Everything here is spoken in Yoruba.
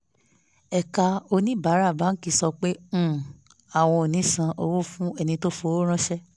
ẹ̀ka oníbàárà báńkì sọ pé um àwọn ò ní san owó fún ẹni tó fi owó ránṣẹ́